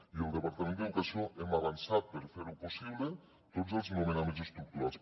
i el departament d’educació hem avançat per fer ho possible tots els nomenaments estructurals